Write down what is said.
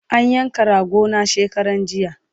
An yanka rago na shekaranjiya